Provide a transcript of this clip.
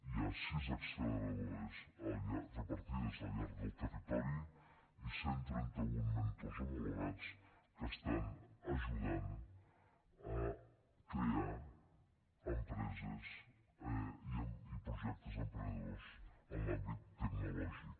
hi ha sis acceleradores repartides al llarg del territori i cent i trenta un mentors homologats que estan ajudant a crear empreses i projectes emprenedors en l’àmbit tecnològic